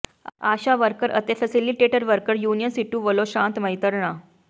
ਆਸ਼ਾ worker ਅਤੇ facilitator worker union CITU ਵਲੋਂ ਸ਼ਾਂਤਮਈ ਧਰਨਾ